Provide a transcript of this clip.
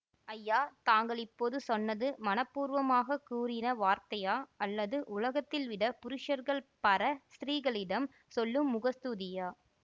ஐயா தாங்கள் இப்போது சொன்னது மனப்பூர்வமாகக் கூறின வார்த்தையா அல்லது உலகத்தில் விட புருஷர்கள் பர ஸ்திரீகளிடம் சொல்லும் முகஸ்தூதியா